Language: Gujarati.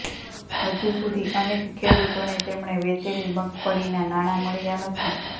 હજુ સુધી અનેક ખેડૂતોને તેમણે વેચેલી મગફળીના નાણાં મળ્યા નથી